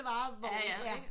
Varevogn ikke